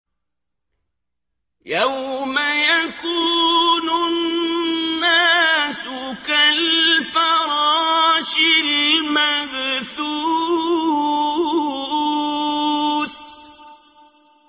يَوْمَ يَكُونُ النَّاسُ كَالْفَرَاشِ الْمَبْثُوثِ